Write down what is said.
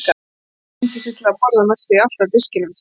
Lalli píndi sig til að borða næstum því allt af diskinum.